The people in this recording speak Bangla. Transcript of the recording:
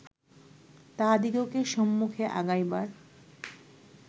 তাহাদিগকে সম্মুখে আগাইবার